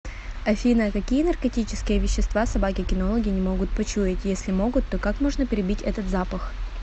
афина какие наркотические вещества собаки кинологи не могут почуять если могут то как можно перебить этот запах